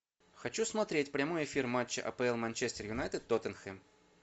хочу смотреть прямой эфир матча апл манчестер юнайтед тоттенхэм